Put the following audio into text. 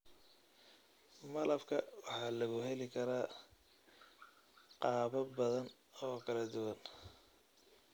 Malabka waxaa lagu heli karaa qaabab badan oo kala duwan.